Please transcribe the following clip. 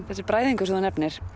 þessi bræðingur sem þú nefnir